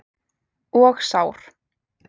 Og sár.